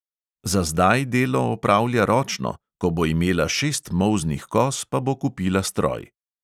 Za zdaj delo opravlja ročno, ko bo imela šest molznih koz, pa bo kupila stroj.